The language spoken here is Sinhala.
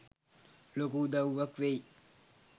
ලොකු උදව්වක් වෙයි.